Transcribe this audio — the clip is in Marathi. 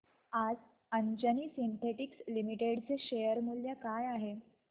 आज अंजनी सिन्थेटिक्स लिमिटेड चे शेअर मूल्य काय आहे